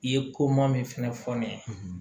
I ye koma min fɛnɛ fɔ ne ye